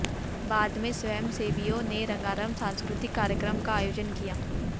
बाद में स्वयंसेवियों ने रंगारंग सांस्कृतिक कार्यक्रम का आयोजन किया